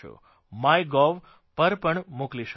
my gov પર પણ મોકલી શકો છો